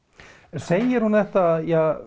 en segir hún þetta